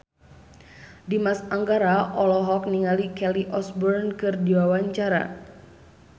Dimas Anggara olohok ningali Kelly Osbourne keur diwawancara